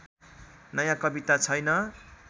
नयाँ कविता छैन